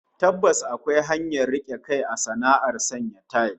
Tabbas akwai hanyar rike kai a sana'ar sanya tayil